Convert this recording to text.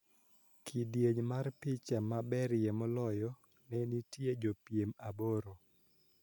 Kidieny mar picha maberie moloyo ne nitie jopiem aboro